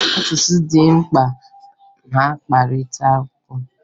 Asụsụ dị mkpa na mkparịtaụka